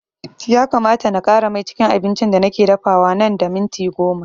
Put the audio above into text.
Ya kamata na ƙara mai cikin abincin da nake dafawa nan da minti goma